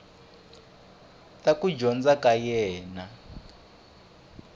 ta kuma ndzhaka ya yena